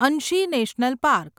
Anshi national park